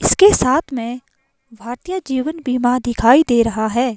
इसके साथ में भारतीय जीवन बीमा दिखाई दे रहा है।